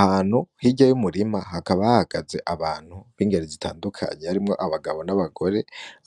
Ahantu hirya y'umurima hakaba hahagaze abantu b'ingero zitandukanye harimwo : abagabo n'abagore